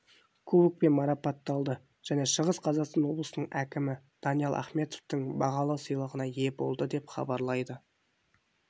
кубокпен марапатталды және шығыс қазақстан облысының әкімі даниал ахметовтың бағалы сыйлығына ие болды деп хабарлайды